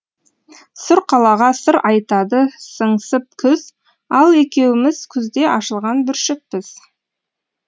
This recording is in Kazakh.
сұр қалаға сыр айтады сыңсып күз ал екеуіміз күзде ашылған бүршікпіз